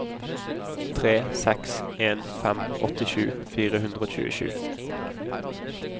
tre seks en fem åttisju fire hundre og tjuesju